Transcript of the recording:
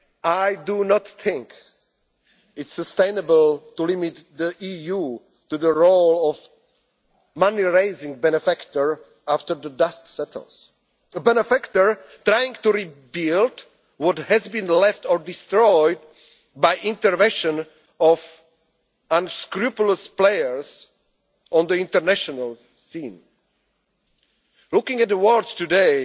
of the EU. I do not think it is sustainable to limit the EU to the role of a money raising benefactor after the dust settles, a benefactor trying to rebuild what has been left or destroyed by interventions of unscrupulous players on the international scene. Looking at